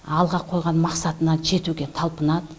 алға қойған мақсатына жетуге талпынады